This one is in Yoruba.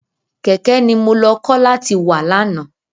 Kẹ̀kẹ́ ni mo lọ kọ́ láti wà lánàá.